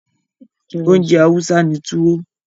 Oúnjẹ Hausa ni Tuwo.